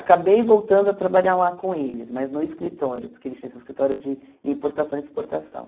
Acabei voltando a trabalhar lá com eles, mas no escritório, porque eles tinham esse escritório de importação e exportação.